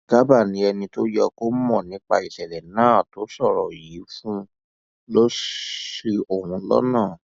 garba ni ẹni tó yẹ kó mọ nípa ìṣẹlẹ náà tó sọrọ yìí fóun lọ ṣi òun lọnà